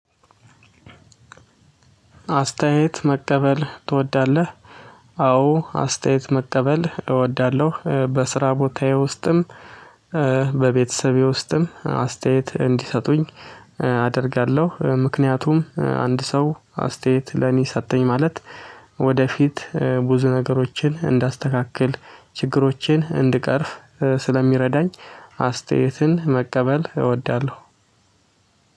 አስተያየት መቀበል ትወዳለህ? አዎ አስተያየት መቀበል እወዳለሁ በስራ ቦታዬ ውስጥም በቤተሰቤ ውስጥም አስተያየት እንዲሰጡኝ አደርጋለሁ። ምክንያቱም አንድ ሰው አስተያየት ለኔ ሰጠኝ ማለት ወደፊት ብዙ ነገሮችን እንዳስተካክል ችግሮችን እንድቀርፍ ስለሚረዳኝ። አስተያየትን መቀበል እወዳለሁ።